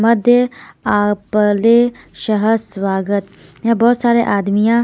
मध्य आपले सहस स्वागत यहां बहुत सारे आदमियां--